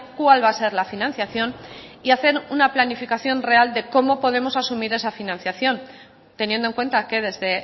cuál va a ser la financiación y hacer una planificación real de cómo podemos asumir esa financiación teniendo en cuenta que desde